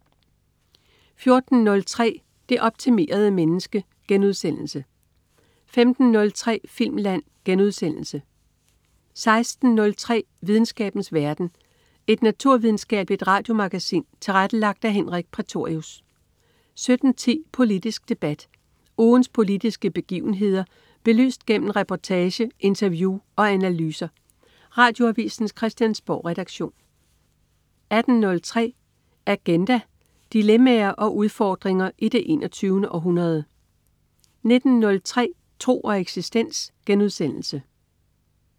14.03 Det optimerede menneske* 15.03 Filmland* 16.03 Videnskabens verden. Et naturvidenskabeligt radiomagasin tilrettelagt af Henrik Prætorius 17.10 Politisk debat. Ugens politiske begivenheder belyst gennem reportage, interview og analyser. Radioavisens Christiansborgredaktion 18.03 Agenda. Dilemmaer og udfordringer i det 21. århundrede 19.03 Tro og eksistens*